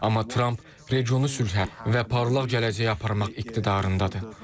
Amma Tramp regionu sülhə və parlaq gələcəyə aparmaq iqtidarındadır.